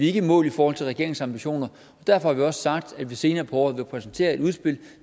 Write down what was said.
ikke mål i forhold til regeringens ambitioner derfor har sagt at vi senere på året vil præsentere et udspil